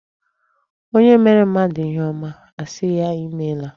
Onye meere mmadụ ihe ọma, a sị ya imeela.